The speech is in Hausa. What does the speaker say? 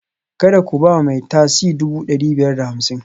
Kada ku ba mai tasi dubu ɗari biyar da hamsin